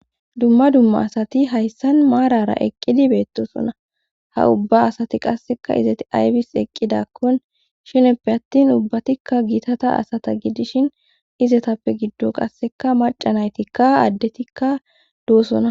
Dumma dumma asati hayssan maarara eqqidi beettosona ha ubba asati qasseka izati aybis eqqidakkon shineppe attin ubbatikka giitata asata gidishin izetappe giddo qasseka macanaytikka addetikka duwosona.